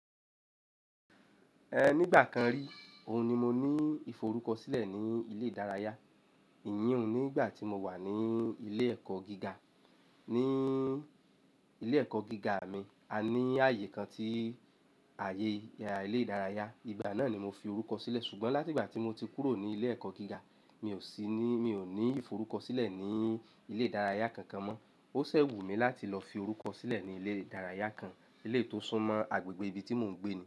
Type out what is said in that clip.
Ẹ nígbà kan rí, òun ni mo ní ìforúkọsílẹ̀ ní ilé ìdárayá. Iyì òun nígbà tí mo wà ní ilé ẹ̀kọ́ gíga. Ni ilé ẹ̀kọ́ gíga mi, a ní ààyè kan tí ààyè ilé ìdárayá. Ìgbà náà ni mo fi orúkọ sílẹ̀. Ṣùgbọ́n láti ìgbà tí mo ti kúrò ní ilé ẹ̀kọ́ gíga, mi ò sí ní, mi ò ní ìforúkọsílẹ̀ ní ilé ìdárayá kankan mọ́. Ó ṣẹ̀ wù mí láti lọ fi orúkọ sílẹ̀ ní ilé ìdárayá kan, èléyìí tó sún mọ́ agbègbè ibi tí mò ń gbé ni.